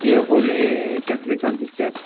ये होली केथलिकांची चर्च .